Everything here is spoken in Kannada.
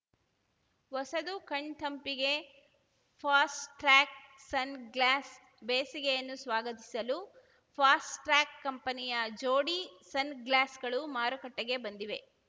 ಹೊಸತು ಕಣ್‌ ತಂಪಿಗೆ ಫಾಸ್ಟ್‌ಟ್ರ್ಯಾಕ್‌ ಸನ್‌ಗ್ಲಾಸ್‌ ಬೇಸಿಗೆಯನ್ನು ಸ್ವಾಗತಿಸಲು ಫಾಸ್ಟ್‌ ಟ್ರ್ಯಾಕ್‌ ಕಂಪೆನಿಯ ಜೋಡಿ ಸನ್‌ಗ್ಲಾಸ್‌ಗಳು ಮಾರುಕಟ್ಟೆಗೆ ಬಂದಿವೆ